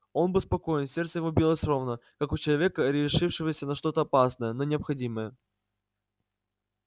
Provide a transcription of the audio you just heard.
он был спокоен сердце его билось ровно как у человека решившегося на что-то опасное но необходимое